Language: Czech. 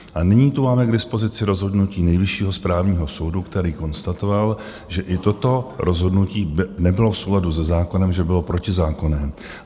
A nyní tu máme k dispozici rozhodnutí Nejvyššího správního soudu, který konstatoval, že i toto rozhodnutí nebylo v souladu se zákonem, že bylo protizákonné.